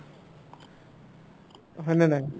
হয়নে নাই